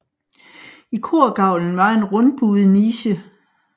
I korgavlen var en rundbuet niche